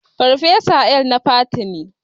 Farfesa El-nafati ne.